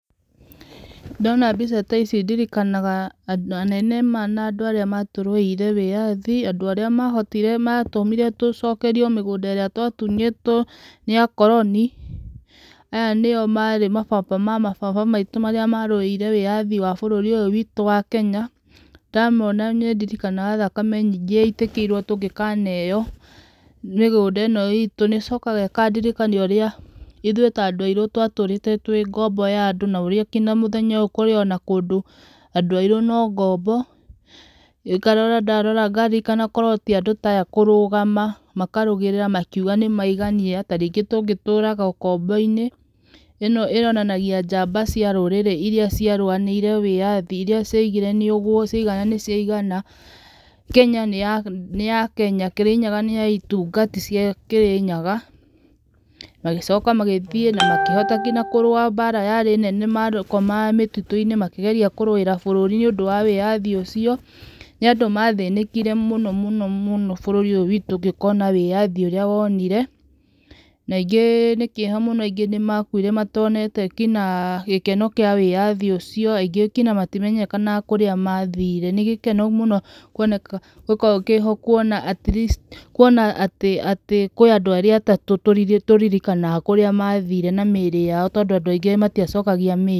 Ndona mbica ta ici ndirikanaga anene na andũ arĩa matũrũĩire wĩyathi, andũ arĩa mahotire tũcokerio mĩgũnda ĩrĩa twatunyĩtwo nĩ akoroni, aya nĩo marĩ mababa mababa maitũ marĩa marũĩrĩire bũrũri ũyũ witũ wa Kenya ndamona ndirikanaga thakame nyingĩ yaitĩkire tũngĩkaneo mĩgũnda ĩno itũ. Nĩcokaga ĩkandirikana ũrĩa ithuĩ ta andũ airũ twatũrĩte twĩ ngombo ya andũ kũrĩa nginya mũthenya ũyũ kũrĩ andũ airũ no ngombo. Ndarora ngaririkan korwo ti andũ ta aya kũrũgama makarũĩrĩra makauga nĩmaigania tarĩngĩ tũngĩtũraga ũkombo inĩ. Ĩno yonanagia njamba cia rũrĩrĩ irĩa ciarũĩrĩire wĩyathi irĩa ciaugĩre nĩguo ciaigana na nĩciaigana. Kenya nĩ ya Kĩrĩnyaga itungati cia Kĩrĩnyaga na magĩcoka magĩthiĩ kũrũa mbara yarĩ nene mũno makomaga mĩtitũ-inĩ makĩgeria kũrũĩra bũrũri wa wĩyathi ũcio. Nĩ andũ mathĩnĩkire mũno mũno bũrũri ũyũ witũ ũgĩkona ũrĩa wonire na aingĩ nĩ kĩeha aingĩ nĩ makuire matonete nginya gĩkeno kĩa wĩyathi ũcio. Aingĩ matimenyekaga kũrĩa mathire. Nĩ gĩkeno kũwoneka atleast kUona atĩ kũrĩ andũ arĩa atatũ tũririkanaga mathire na mĩrĩ yao tondũ andũ aingĩ matiacokagia mĩrĩ.